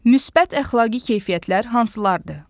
Müsbət əxlaqi keyfiyyətlər hansılardır?